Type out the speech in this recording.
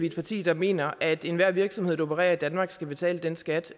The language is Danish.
et parti der mener at enhver virksomhed der opererer i danmark skal betale den skat